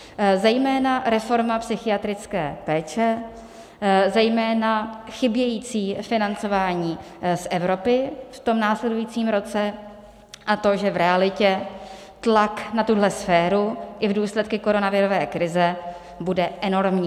Zejména reforma psychiatrické péče, zejména chybějící financování z Evropy v tom následujícím roce a to, že v realitě tlak na tuhle sféru i v důsledku koronavirové krize bude enormní.